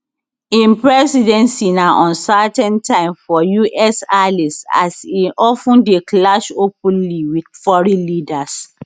im presidency na uncertain time for us allies as e of ten dey clash openly wit foreign leaders